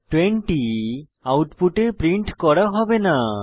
20 আউটপুটে প্রিন্ট করা হবে না